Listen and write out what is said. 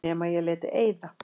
Nema ég léti eyða.